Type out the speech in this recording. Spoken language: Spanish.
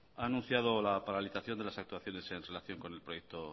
ha anunciado la paralización de las actuaciones en relación con el proyecto